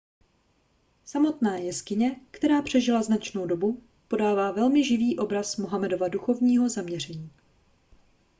samotná jeskyně která přežila značnou dobu podává velmi živý obraz mohamedova duchovního zaměření